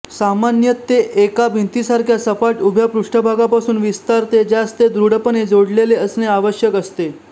सामान्यत ते एका भिंतीसारख्या सपाट उभ्या पृष्ठभागापासून विस्तारते ज्यास ते दृढपणे जोडलेले असणे आवश्यक असते